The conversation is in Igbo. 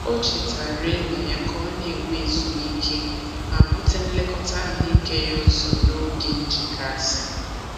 O chetaara enyi ya ka ọ na-enwe ezumike ma bute nlekọta ahụike ya ụzọ n'oge nchekasị.